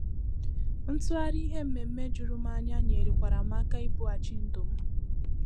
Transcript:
Ntughari ihe mmeme jùrù m anya nyere kwara m aka ibùghachi ndụ m